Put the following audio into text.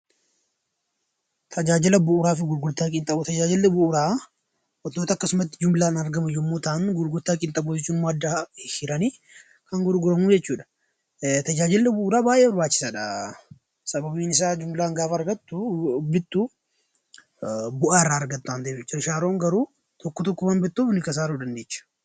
Tajaajilli bu'uuraa wantoota akkasumatti jimlaan argamu yommuu ta'an, gurgurtaa qinxaaboo jechuun ammoo adda hihiranii kan gurguramu jechuudha. Tajaajilli bu'uuraa baay'ee barbaachisaadha. Sababiin isaa jimlaan gaafa argattu, bittu bu'aa irraa argatta waan ta'eef jechuudha. Shaaroon garuu tokko tokkoon waan bittuuf kasaaruu ni dandeecha.